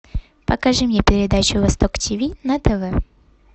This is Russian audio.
покажи мне передачу восток тиви на тв